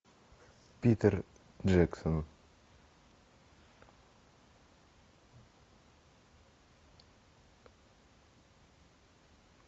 питер джексон